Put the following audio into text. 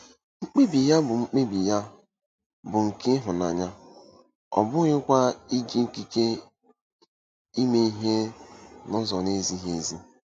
Mkpebi ya bụ Mkpebi ya bụ nke ịhụnanya, ọ bụghịkwa iji ikike eme ihe n'ụzọ na-ezighị ezi.